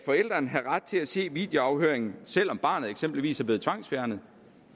have ret til at se videoafhøringen selv om barnet eksempelvis er blevet tvangsfjernet